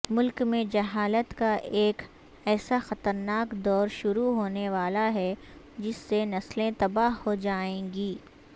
ملک میں جہالت کا ایک ایساخطرناک دور شروع ہونےوالاہے جس سےنسلیں تباہ ہوجائیں گی